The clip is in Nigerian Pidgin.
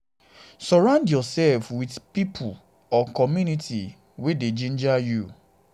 surround yourself with pipo pipo or community um wey dey ginger you um